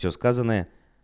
все сказанное